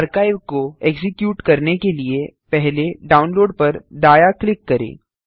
archive को execute करने के लिए पहले डाउनलोड पर दायाँ क्लिक करें